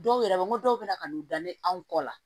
Dɔw yɛrɛ n ko dɔw bɛ na ka n'u da ne anw kɔ la